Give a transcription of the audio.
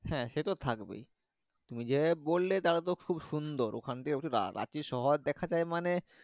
হ্যাঁ সে তো থাকবেই তুমি যে ভাবে বললে তাহলে তো খুব সুন্দর ওখান থেকে রাঁচি শহর দেখা যাই মানে।